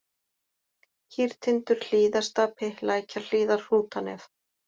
Kýrtindur, Hlíðarstapi, Lækjarhlíðar, Hrútanef